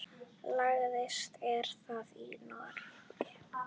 Lægst er það í Noregi.